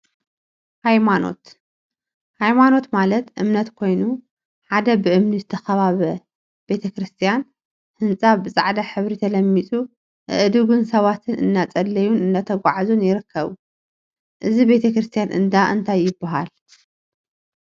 ሃይማት ሃይማኖት ማለት እምነት ኮይኑ፤ ሓደ ብእምኒ ዝተካበበ ቤተ ክርስትያን ህንፃ ብፃዕዳ ሕብሪ ተለሚፁ አእዱግን ሰባትን እናፀለዩን እናተጓዓዙን ይርከቡ፡፡ እዚ ቤተ ክርስትያን እንዳ እንታይ ይበሃል?